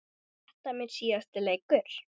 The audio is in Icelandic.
Er þetta minn síðasti leikur?